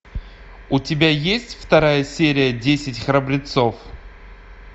у тебя есть вторая серия десять храбрецов